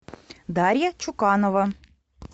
дарья чуканова